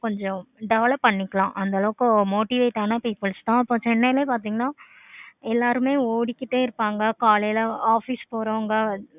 கொஞ்சம் develop பண்ணிக்கலாம் அந்த அளவுக்கு motivates ஆனா people's தான் இப்ப chennai லயே பார்த்தீங்கன்னா எல்லாருமே ஓடிக்கிட்டே இருப்பாங்க. காலையில office போறவங்க